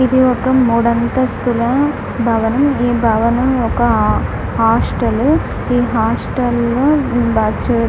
ఇది ఒక మూడంతస్తుల భవనం ఈ భవనం ఒక ఆ హాస్టలు ఈ హాస్టల్లో బా చు --